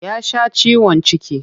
Ya sha ciwon ciki.